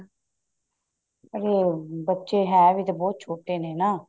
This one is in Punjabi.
ਉਹ ਬੱਚੇ ਹੈ ਵੀ ਤਾਂ ਬਹੁਤ ਛੋਟੇ ਨੇ ਨਾ